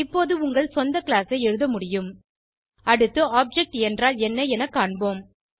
இப்போது உங்கள் சொந்த கிளாஸ் ஐ எழுத முடியும் அடுத்து ஆப்ஜெக்ட் என்றால் என்ன என காண்போம்